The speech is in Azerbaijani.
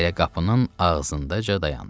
Elə qapının ağzıncada dayandı.